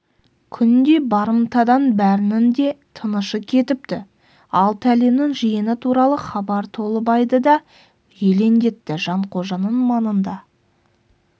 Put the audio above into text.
күнде барымтадан бәрінің де тынышы кетіпті алты әлімнің жиыны туралы хабар толыбайды да елеңдетті жанқожаның маңында